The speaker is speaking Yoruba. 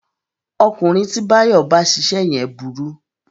Ọkùnrin tí Báyọ̀ bá ṣiṣẹ́ yẹn burú